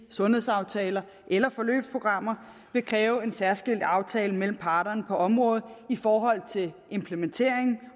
sundhedsaftaler eller forløbsprogrammer vil kræve en særskilt aftale mellem parterne på området i forhold til implementering